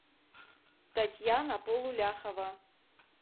татьяна полуляхова